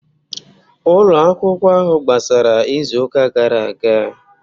Ụlọ akwụkwọ ahụ gbasara izu ụka gara aga